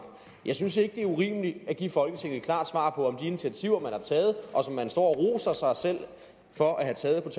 jeg synes ikke at det er urimeligt at give folketinget et klart svar på om de initiativer man har taget og som man står roser sig selv for at have taget